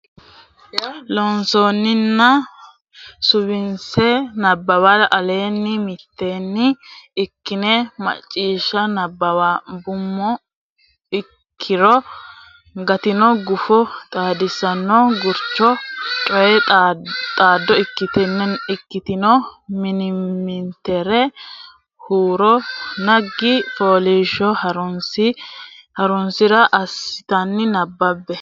Loossinanni Suwise Nabbawa Aleenni mitteenni ikkine Macciishsha nabbambummo ki ne gattino guffa Xaadisaano Gurdancho Coy waaxo ikkitine mimmitinera huuro naggi fooliishsho Horonsi ra assitine nabbabbe.